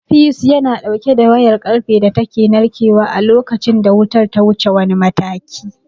Fiyus yana ɗauke da wayar ƙarfe da take narkewa a lokacin da wutar ta wuce wani mataki.